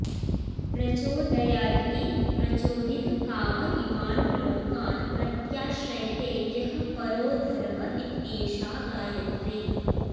प्रचोदयादिति प्रचोदित काम इमान् लोकान् प्रत्याश्रयते यः परो धर्म इत्येषा गायत्री